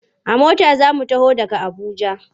A mota za su taho daga Abuja.